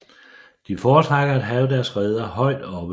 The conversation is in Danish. De foretrækker at have deres reder højt oppe